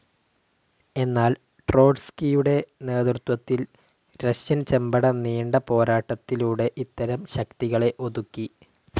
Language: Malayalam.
എന്നാൽ ട്രോട്സ്കിയുടെ നേതൃത്വത്തിൽ റഷ്യൻ ചെമ്പട നീണ്ട പോരാട്ടത്തിലൂടെ ഇത്തരം ശക്തികളെ ഒതുക്കി.